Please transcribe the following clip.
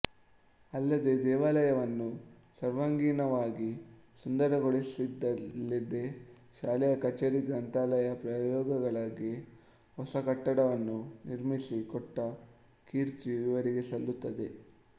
ಅಲ್ಲದೇ ದೇವಾಲಯವನ್ನು ಸರ್ವಾಂಗೀಣವಾಗಿ ಸುಂದರಗೊಳಿಸಿದ್ದಲ್ಲದೇ ಶಾಲೆಯ ಕಚೇರಿ ಗ್ರಂಥಾಲಯ ಪ್ರಯೋಗಾಲಯಗಳಿಗೆ ಹೊಸ ಕಟ್ಟಡವನ್ನು ನಿರ್ಮಿಸಿ ಕೊಟ್ಟ ಕೀರ್ತಿಯೂ ಇವರಿಗೇ ಸಲ್ಲುತ್ತದೆ